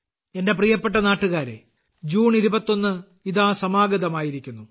എന്റെ പ്രിയപ്പെട്ട നാട്ടുകാരേ ജൂൺ 21 ഇതാ സമാഗതമായിരിക്കുന്നു